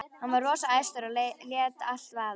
Hann var rosa æstur og lét allt vaða.